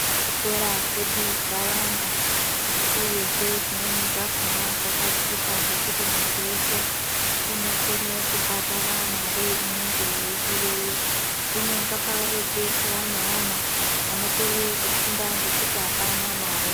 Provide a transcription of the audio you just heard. Zvikora zvedu zvawanda uye zvimweni zvakona zvakachipa zvekuti muntu weshe unokona kubhadhara Mari inenge yeidiwa ikonga pane vana anokorera kufunda nekutame mare.